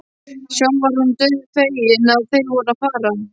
Sjálf var hún dauðfegin að þeir voru að fara.